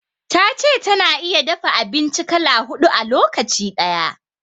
Ta ce ta na iya dafa abinci kala huɗu a lokaci ɗaya.